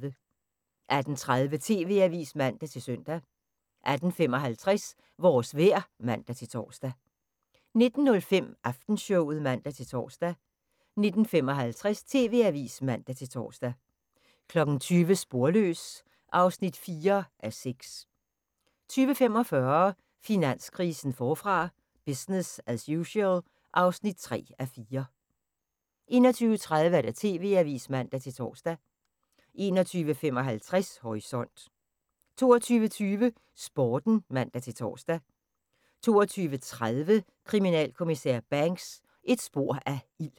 18:30: TV-avisen (man-søn) 18:55: Vores vejr (man-tor) 19:05: Aftenshowet (man-tor) 19:55: TV-avisen (man-tor) 20:00: Sporløs (4:6) 20:45: Finanskrisen forfra – business as usual (3:4) 21:30: TV-avisen (man-tor) 21:55: Horisont 22:20: Sporten (man-tor) 22:30: Kriminalinspektør Banks: Et spor af ild